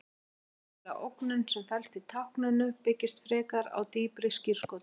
Hin raunverulega ógnun sem felst í tákninu byggist frekar á dýpri skírskotun.